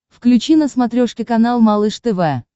включи на смотрешке канал малыш тв